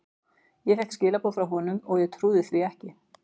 Ég fékk skilaboð frá honum og ég trúði því ekki.